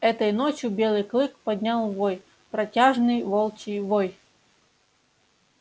этой ночью белый клык поднял вой протяжный волчий вой